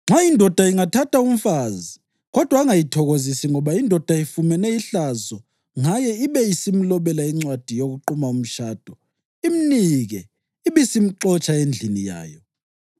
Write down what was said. “Nxa indoda ingathatha umfazi kodwa angayithokozisi ngoba indoda ifumene ihlazo ngaye ibe isimlobela incwadi yokuquma umtshado, imnike, ibisimxotsha endlini yayo,